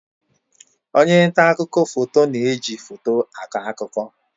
Onye nta akụkọ foto na-eji foto akọ akụkọ.